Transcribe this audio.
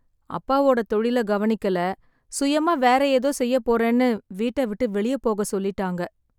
அப்பாவோட தொழில கவனிக்கல, சுயமா வேற ஏதோ செய்யப் போறேன்னு வீட்ட விட்டு வெளிய போக சொல்லிட்டாங்க.